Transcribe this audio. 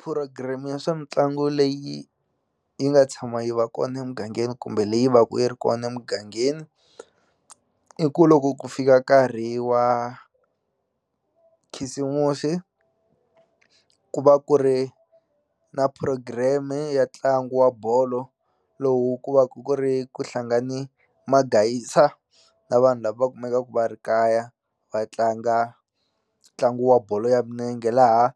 Phurogireme ya swa mitlangu leyi yi nga tshama yi va kona emugangeni kumbe leyi va ku yi ri kona emugangeni i ku loko ku fika nkarhi wa khisimusi ku va ku ri na program-e ya ntlangu wa bolo lowu ku va ku ku ri ku hlangane magayisa na vanhu lava kumekaku va ri kaya va tlanga ntlangu wa bolo ya minenge laha